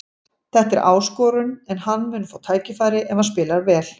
Þetta er áskorun en hann mun fá tækifæri ef hann spilar vel.